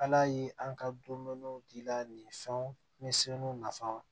Ala ye an ka dumuniw di la nin fɛnw ni sɛbɛnw nafa